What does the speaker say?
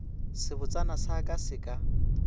sebotsana sa ka se ka